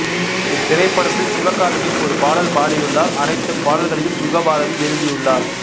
இத்திரைப்படத்தில் சிவகார்த்திகேயன் ஒரு பாடல் பாடியுள்ளார் அனைத்துப் பாடல்களையும் யுகபாரதி எழுதியுள்ளார்